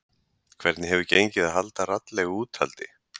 Hvernig hefur gengið að halda raddlegu úthaldi?